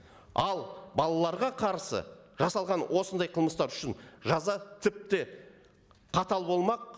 ал балаларға қарсы жасағандар осындай қылмыстар үшін жаза тіпті қатал болмақ